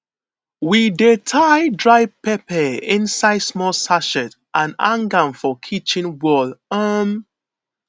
we dey tie dry pepper inside small sachet and hang am for kitchen wall um